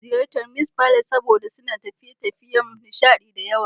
Ina son ziyartar Mee's Palace saboda suna da tafiye-tafiyen nishaɗi da yawa.